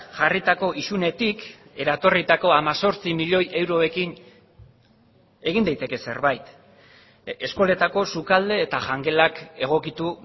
jarritako isunetik eratorritako hemezortzi milioi euroekin egin daiteke zerbait eskoletako sukalde eta jangelak egokitu